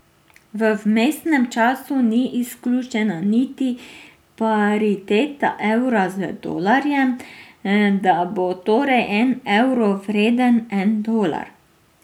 V vmesnem času ni izključena niti pariteta evra z dolarjem, da bo torej en evro vreden en dolar.